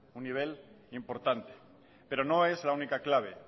un nivel importante pero no es la única clave